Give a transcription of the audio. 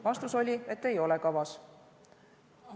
Vastus oli, et ei ole kavas.